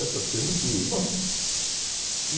Essas coisas aqui... Bom, enfim.